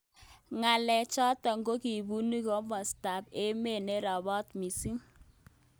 Ngalek chotok kokibitu kimosta ab emet nerobot missing.